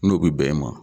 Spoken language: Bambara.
N'o bi bɛn e ma